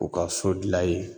U ka so dilan yen.